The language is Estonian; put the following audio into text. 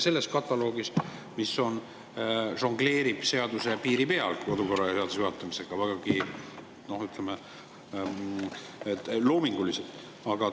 Selles kataloogis žongleeritakse kodukorraseaduse piiri peal juhatamise teemal vägagi, noh, ütleme, loominguliselt.